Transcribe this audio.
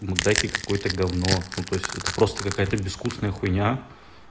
макдаки какое-то гавно ну то есть это просто какая-то безвкусная хуйня